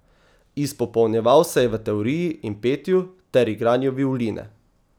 Izpopolnjeval se je v teoriji in petju ter igranju violine.